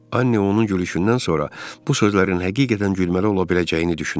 Annə onun gülüşündən sonra bu sözlərin həqiqətən gülməli ola biləcəyini düşünürdü.